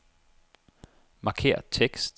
Markér tekst.